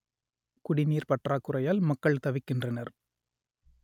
குடிநீர் பற்றாக்குறையால் மக்கள் தவிக்கின்றனர்